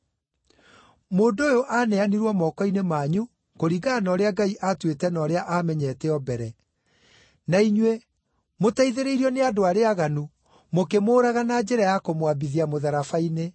Mũndũ ũyũ aaneanirwo moko-inĩ manyu, kũringana na ũrĩa Ngai aatuĩte na ũrĩa aamenyete o mbere; na inyuĩ, mũteithĩrĩirio nĩ andũ arĩa aaganu, mũkĩmũũraga na njĩra ya kũmwambithia mũtharaba-inĩ.